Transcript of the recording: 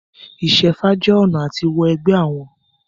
Ìṣẹ́fá jẹ ọ̀nà à ti wọ ẹgbẹ́ àwọn.